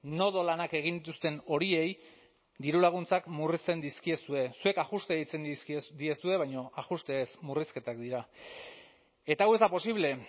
nodo lanak egin dituzten horiei dirulaguntzak murrizten dizkiezue zuek ajuste deitzen dizkiozue baina ajuste ez murrizketak dira eta hau ez da posible